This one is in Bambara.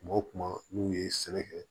Kuma o kuma n'u ye sɛnɛ kɛ